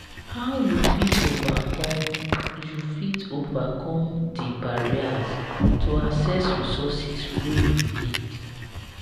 how you fit overcome you fit overcome di barriers to access resources wey you need?